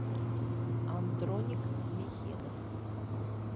андроник михедов